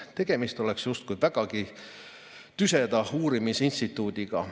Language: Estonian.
Tegemist oleks justkui vägagi tüseda uurimisinstituudiga.